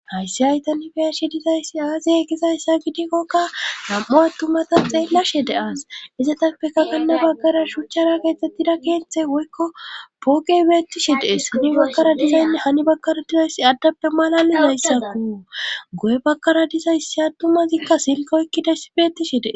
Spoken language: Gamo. hayssi haytanifiyashi dizayssi aazey gizayssa gidikkokka nam7u attumata xeellashe de aas izatappekakanna baggara shuchchara geexxettida keethe woykko pooqey beettishi dees hani bakkara dizaynne hani bakkara dizayssi addappe malali zayssatu go7e bakkara dizayssi attumazikka silkoekkidayssi beettishi dee